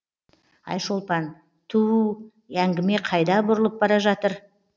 айшолпан ту у әңгіме қайда бұрылып бара жатыр